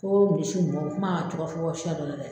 Ko misiw bɔ kuma cɔgɔ fɔ siya dɔ la dɛ.